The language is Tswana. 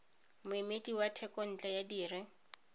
moemedi wa thekontle ya dire